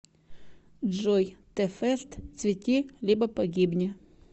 джой тэ фэст цвети либо погибни